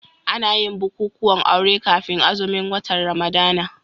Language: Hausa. Ana yin bukukuwan aure kafin azumin watan Ramadana.